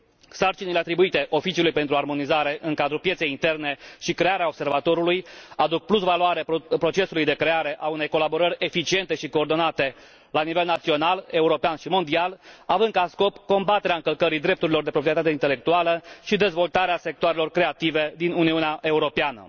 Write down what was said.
Sarcinile atribuite Oficiului pentru Armonizare în cadrul Pieței Interne și crearea Observatorului aduc plusvaloare procesului de creare a unei colaborări eficiente și coordonate la nivel național, european și mondial, având ca scop combaterea încălcării drepturilor de proprietate intelectuală și dezvoltarea sectoarelor creative din Uniunea Europeană.